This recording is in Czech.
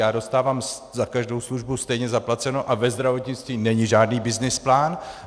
Já dostávám za každou službu stejně zaplaceno a ve zdravotnictví není žádný byznys plán.